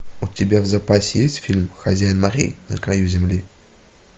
у тебя в запасе есть фильм хозяин морей на краю земли